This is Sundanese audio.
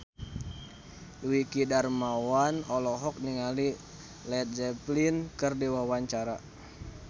Dwiki Darmawan olohok ningali Led Zeppelin keur diwawancara